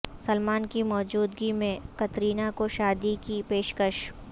سلمان کی موجودگی میں کترینہ کو شادی کی پیشکش